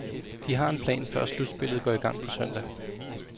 De har en plan, før slutspillet går i gang på søndag.